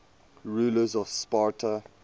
rulers of sparta